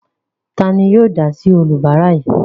Ta ni yóò dá sí oníbàárà yìí?